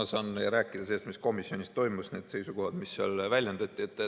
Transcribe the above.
Ma saan rääkida sellest, mis komisjonis toimus, neist seisukohtadest, mida seal väljendati.